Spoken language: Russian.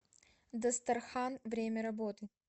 дастархан время работы